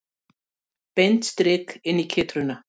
Beint strik inn í kytruna.